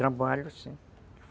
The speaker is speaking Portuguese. Trabalho, sim.